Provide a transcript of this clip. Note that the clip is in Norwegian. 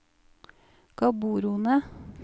Gaborone